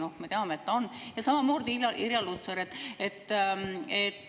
" Noh, me teame, et ta on, ja samamoodi Irja Lutsar.